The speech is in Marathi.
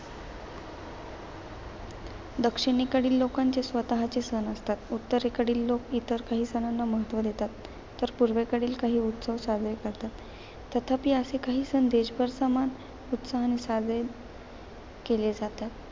दक्षिणेकडील लोकांचे स्वतःचे सण असतात. उत्तरेकडील लोक इतर काही सणांना महत्त्व देतात. तर पूर्वेकडील काही उत्सव साजरे करतात. तथापि, असे काही सण देशभर समान उत्साहाने साजरे केले जातात.